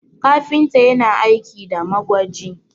kafinta yana aiki da magwaji